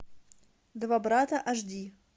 два брата аш ди